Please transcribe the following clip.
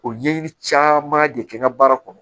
O ɲɛɲini caman de kɛ n ka baara kɔnɔ